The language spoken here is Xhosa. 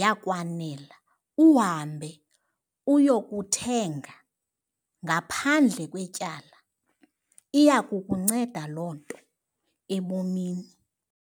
yakwanela uhambe uyokuthenga ngaphandle kwetyala, iya kukunceda loo nto ebomini.